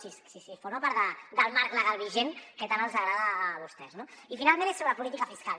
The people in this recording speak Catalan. si forma part del marc legal vigent que tant els agrada a vostès no i finalment és sobre política fiscal